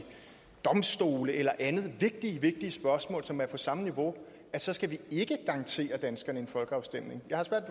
domstole eller andet et vigtigt vigtigt spørgsmål som er på samme niveau så skal vi garantere danskerne en folkeafstemning jeg har svært